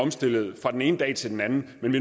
omstilles fra den ene dag til den anden men